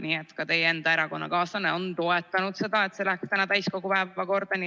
Nii et ka teie enda erakonnakaaslane on toetanud seda, et see läheks täiskogu päevakorda.